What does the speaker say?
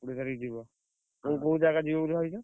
କୋଡିଏ ତାରିଖ୍ ଯିବ। ତମେ କୋଉ ଜାଗା ଯିବ ବୋଲି ଭାବିଛ?